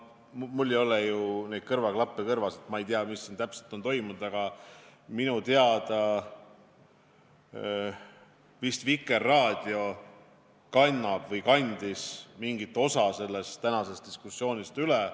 Mul ei ole kõrvaklappe kõrvas, ma ei tea, mis siin täpselt on toimunud, aga minu teada vist Vikerraadio kannab või kandis mingit osa sellest tänasest diskussioonist üle.